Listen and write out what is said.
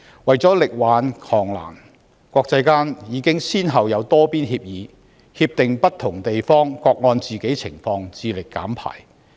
為了力挽狂瀾，國際間已先後達成多邊協議，不同地方承諾各按本身情況致力減排。